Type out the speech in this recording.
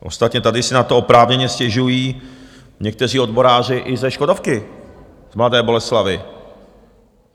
Ostatně tady si na to oprávněně stěžují někteří odboráři i ze Škodovky z Mladé Boleslavi.